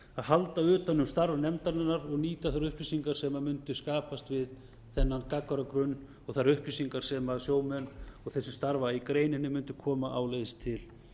halda utan um starf nefndarinnar og nýta þær upplýsingar sem mundu skapast við þennan gagnagrunn og þær upplýsingar sem sjómenn og þeir sem starfa í greininni mundu koma áleiðis til